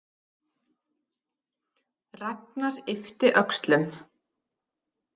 Ragnar yppti öxlum.